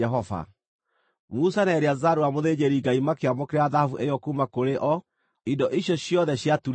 Musa na Eleazaru ũrĩa mũthĩnjĩri-Ngai makĩamũkĩra thahabu ĩyo kuuma kũrĩ o, indo icio ciothe ciaturĩtwo wega.